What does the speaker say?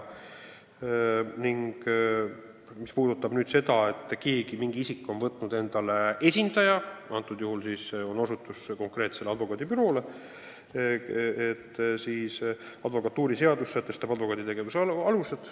Mis puudutab seda, et keegi on võtnud endale esindaja – te osutate konkreetsele advokaadibüroole –, siis advokatuuriseadus sätestab advokaadi tegevuse alused.